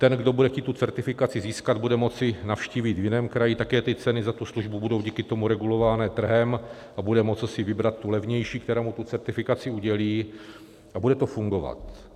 Ten, kdo bude chtít tu certifikaci získat, bude moci navštívit v jiném kraji, také ty ceny za tu službu budou díky tomu regulované trhem, a bude moci si vybrat tu levnější, která mu tu certifikaci udělí, a bude to fungovat.